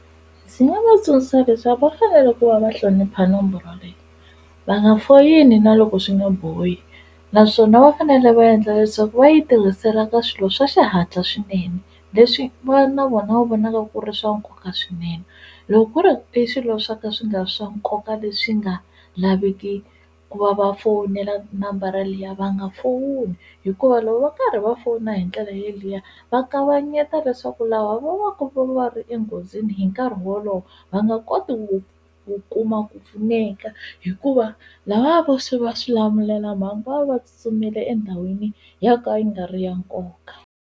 Ndzi nga va tsundzuxa leswaku va fanele ku va va hlonipha nomboro leyi va nga foyini na loko swi nga bohi naswona va fanele va endla leswaku va yi tirhisela ka swilo swa xihatla swinene leswi va na vona va vonaka ku ri swa nkoka swinene loko ku ri i swilo swa ka swi nga swa nkoka leswi nga laveki ku va va fowunela nambara liya va nga fowuni hikuva loko va karhi va fona hi ndlela yeliya va kavanyeta leswaku lava vo va ku va ri enghozini hi nkarhi wolowo va nga koti wu kuma ku pfuneka hikuva lava vo swi va swi xilamulelamhangu va tsutsumele endhawini ya ka yi nga ri ya nkoka.